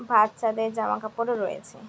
বাচ্চাদের জামা কাপড় ও রয়েছে ।